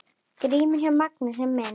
GRÍMUR: Já, Magnús minn!